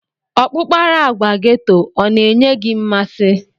Ọkpụkpara agwa geto ọ na-enye gị mmasị?